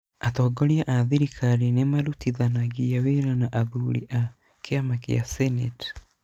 Atongoria a thirikari nĩ marutithanagia wĩra na athuri a kĩama kĩa senate.